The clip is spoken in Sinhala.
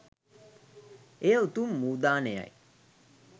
එය උතුම් වූ දානයයි